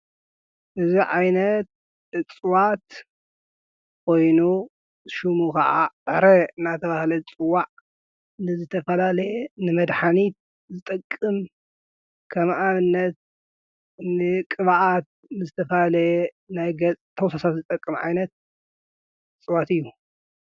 እዙ ዓይነት እጽዋት ኮይኑ ሹሙ ኸዓ ዕረ ናተብሃለት ይጽዋዕ ንዘተፈላለየ ንመድኃኒት ዝጠቅም ከም ኣብምነት ንቕባኣት ንተፋለየ ናይገፅ ተውሰሳት ዝጠቅም ዓይነት እጽዋት እዩ።